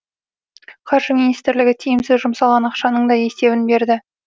қаржы министрлігі тиімсіз жұмсалған ақшаның да есебін берді